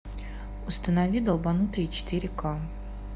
установи долбанутые четыре ка